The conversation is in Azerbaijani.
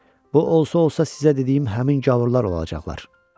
Bu olsa-olsa sizə dediyim həmin gavurlar olacaqlar.